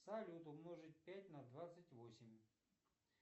салют умножить пять на двадцать восемь